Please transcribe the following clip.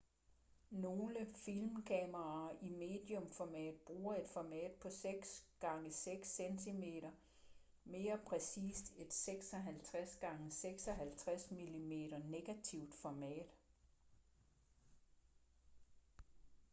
nogle filmkameraer i medium format bruger et format på 6 x 6 cm mere præcist et 56 x 56 mm negativt format